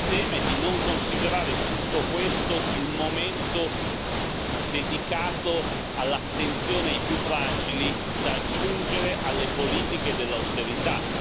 Il tema è di non considerare tutto questo il momento dedicato all'attenzione ai più fragili, da aggiungere alle politiche dell'austerità.